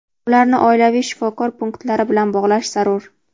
ularni oilaviy shifokor punktlari bilan bog‘lash zarur.